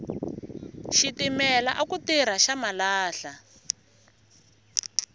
xitimela aku tirha xa malahla